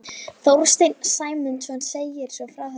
Þorsteinn Sæmundsson segir svo frá þessu: